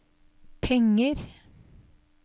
penger